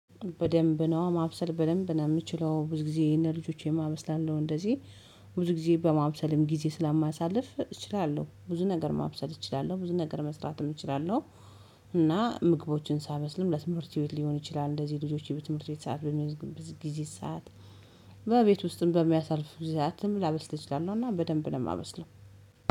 በደንብ ነው ማብሰል በደንብ ነው የምችለው ብዙ ጊዜ ለልጆቼም አበስላለው። እንደዚህ ብዙ ጊዜ በማብሰልም ጊዜ ስለማሳልፍ እችላለሁ ብዙ ነገር ማብሰል እችላለሁ ብዙ ነገር መስራትም እችላለሁ። እና ምግቦችን ሳበስልም ለትምህርት ሊሆን ይችላል፤ እንደዚህ ልጆቼ ከትምህርት ስዓት በሚገቡበት ጊዜ ሰዓት በቤት ውስጥም በሚያሳልፍ ጊዜ ሰዓትም ላበስል ይችላለውና በደንብ ነው የማበስለው።